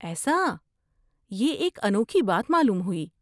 ایسا! یہ ایک انوکھی بات معلوم ہوئی۔